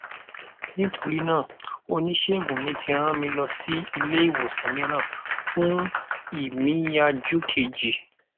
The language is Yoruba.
nítorí náà onísègùn mi tí rán mi lọ si ile iwosan míràn fún ìmìyànjú keji